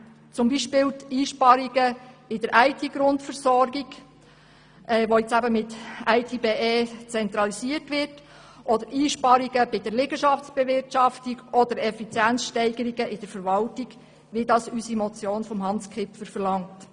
Dazu gehören zum Beispiel die Einsparungen bei der IT-Grundversorgung, die jetzt mit IT@BE zentralisiert wird, oder Einsparungen bei der Liegenschaftsbewirtschaftung sowie Effizienzsteigerungen in der Verwaltung, wie dies die Motion von Hans Kipfer verlangt.